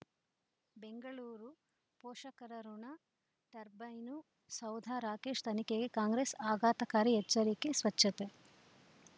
ಬೆಂಗಳೂರು ಪೋಷಕರಋಣ ಟರ್ಬೈನು ಸೌಧ ರಾಕೇಶ್ ತನಿಖೆಗೆ ಕಾಂಗ್ರೆಸ್ ಆಘಾತಕಾರಿ ಎಚ್ಚರಿಕೆ ಸ್ವಚ್ಛತೆ